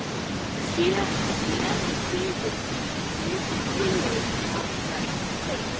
SÉRA SIGURÐUR: Við flytjum tillögu, hvað sem þér segið.